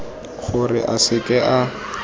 gore a se ke a